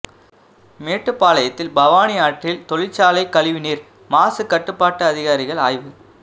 மேட்டுப்பாளையத்தில் பவானி ஆற்றில் தொழிற்சாலை கழிவுநீர் மாசு கட்டுப்பாட்டு அதிகாரிகள் ஆய்வு